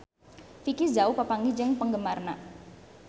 Vicki Zao papanggih jeung penggemarna